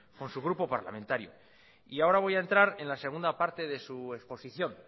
con su grupo parlamentario y ahora voy a entrar en la segunda parte de su exposición